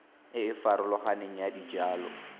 e e farologaneng ya dijalo